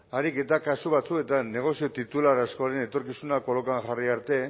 kasu batzuetan negozio titular askoren etorkizuna kolokan jarri arte